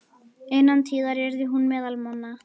Innan tíðar yrði hún meðal manna.